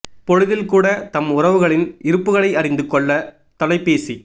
பொழுதில் கூட தம் உறவுகளின் இருப்புக்களை அறிந்து கொள்ளத் தொலைபேசி